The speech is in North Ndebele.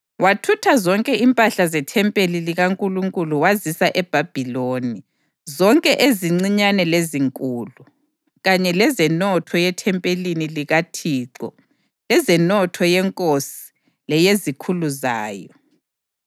Wathutha zonke impahla zethempeli likaNkulunkulu wazisa eBhabhiloni, zonke ezincinyane lezinkulu, kanye lezenotho yethempelini likaThixo lezenotho yenkosi leyezikhulu zayo.